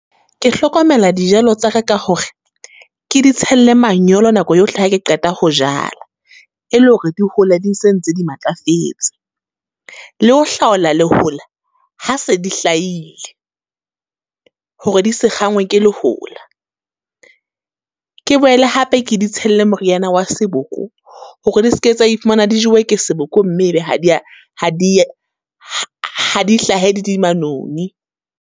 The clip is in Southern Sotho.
Ke hlokomela dijalo tsa re ka hore, ke ditshelle manyolo nako yohle ha ke qeta ho jala. E le hore di hole di se ntse di matlafetse. Le ho hlaola lehola, ha se di hlaile, hore di se kgangwe ke lehola. Ke boele hape ke di tshelle moriana wa seboko hore di ske tsa e fumana di jewe ke seboko, mme e be ha di ya, ha di ha di hlahe di di manoni.